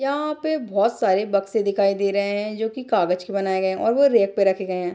यहाँ पे बहुत सारे बक्से दिखाई दे रहें हैं जो की कागज के बनाए गए हैं और वो रेक पे रखे गए हैं।